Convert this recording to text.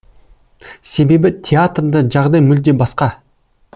себебі театрда жағдай мүлде басқа